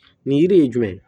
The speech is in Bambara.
Nin yiri ye jumɛn ye